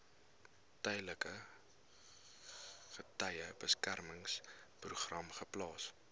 tydelike getuiebeskermingsprogram geplaas